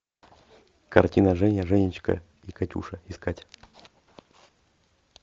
картина женя женечка и катюша искать